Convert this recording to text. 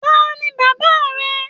Taní bàbá rẹ?